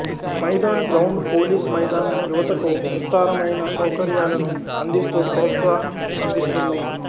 Maidan ground police మైదాన్ యువతకు విస్తారమైన సౌకర్యాలను అందిస్తూ ప్రోత్సాహం అందిస్తుంది